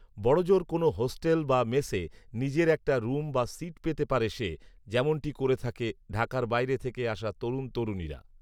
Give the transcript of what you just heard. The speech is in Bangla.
বড়জোর কোনো হোস্টেল বা মেসে নিজের একটা রুম বা সিট পেতে পারে সে, যেমনটি করে থাকে ঢাকার বাইরে থেকে আসা তরুণ তরুণীরা